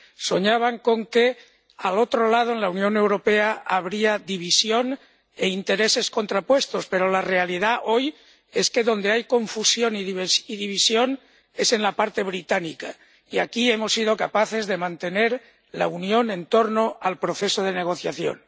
Soñaban con que, al otro lado, en la Unión Europea, habría división e intereses contrapuestos, pero la realidad, hoy, es que donde hay confusión y división es en la parte británica y aquí hemos sido capaces de mantener la unión en torno al proceso de negociación.